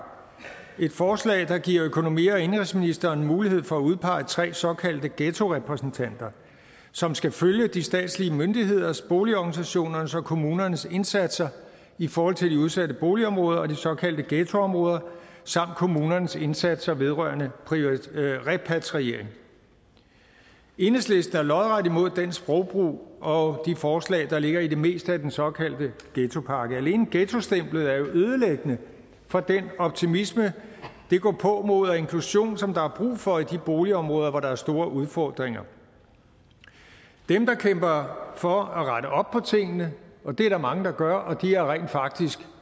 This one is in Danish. et forslag der giver økonomi og indenrigsministeren mulighed for at udpege tre såkaldte ghettorepræsentanter som skal følge de statslige myndigheders boligorganisationernes og kommunernes indsatser i forhold til de udsatte boligområder og de såkaldte ghettoområder samt kommunernes indsatser vedrørende repatriering enhedslisten er lodret imod den sprogbrug og de forslag der ligger i det meste af den såkaldte ghettopakke alene ghettostemplet er jo ødelæggende for den optimisme det gåpåmod og inklusion som der er brug for i de boligområder hvor der er store udfordringer dem der kæmper for at rette op på tingene og det er der mange der gør og det har rent faktisk